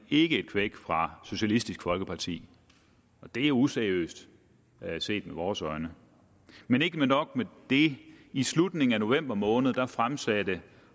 ikke et kvæk fra socialistisk folkeparti og det er useriøst set med vores øjne men ikke nok med det i slutningen af november måned fremsatte